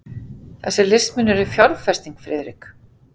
Þessir listmunir eru fjárfesting, Friðrik.